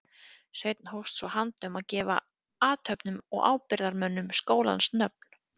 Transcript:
Sveinn hófst svo handa um að gefa athöfnum og ábyrgðarmönnum skólans nöfn.